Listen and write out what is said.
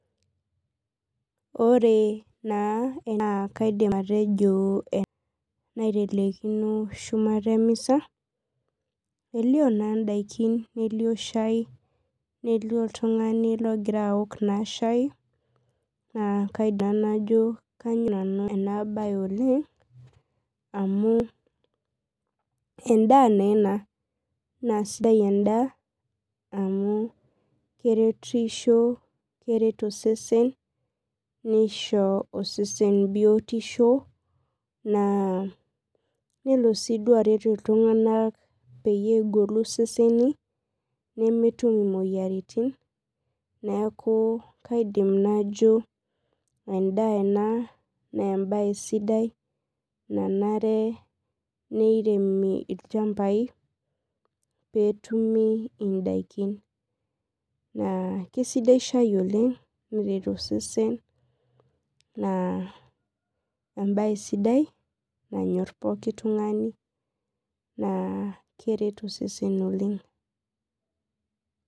Ore naa kaidim atejo endaa naitelekino shumata emisa , elioo naa ndaikin nelio shai , nelio oltungani logira aok naa shai naa kaidim naa najo kanyor nanu enabae oleng amu endaa naa ena naa sidai endaa amu keretisho , keret osesen nisho osesen naa nelo siduo aret iltunganak peyie egolu iseseni nemetum imoyiaritin neeku kaidim najjo endaa ena naa embae sidai nanare niremi ilchmbai petumi indaikin , kisidai shoo oleng naa embae sidai nanyor poki tungani naa keretu seseni oleng.